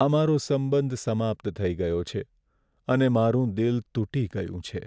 અમારો સંબંધ સમાપ્ત થઈ ગયો છે અને મારું દિલ તૂટી ગયું છે.